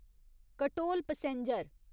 Katol passenger